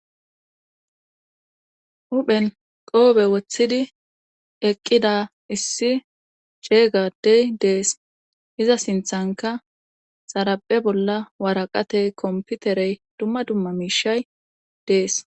huphen qoobe woththidi eqqida issi ceegadey dees iza sinthanka xaraphe bolla waraqate komputerey dumma dumma miishay dees